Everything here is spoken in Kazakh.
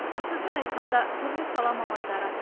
бір сөзбен айтқанда түрлі сала мамандары